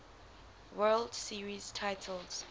world series titles